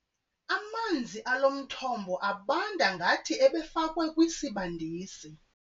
Amanzi alo mthombo abanda ngathi ebefakwe kwisibandisi.